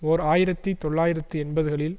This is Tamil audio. ஓர் ஆயிரத்தி தொள்ளாயிரத்து எண்பதுகளில்